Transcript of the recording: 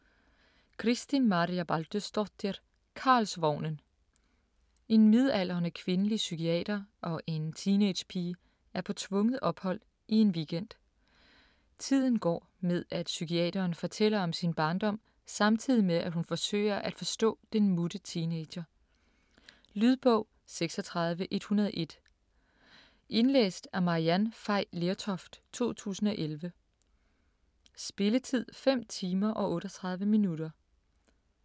Kristín Marja Baldursdóttir: Karlsvognen En midaldrende kvindelig psykiater og en teenagepige er på tvunget ophold i en weekend. Tiden går med at psykiateren fortæller om sin barndom samtidig med at hun forsøger at forstå den mutte teenager. Lydbog 36101 Indlæst af Maryann Fay Lertoft, 2011. Spilletid: 5 timer, 38 minutter.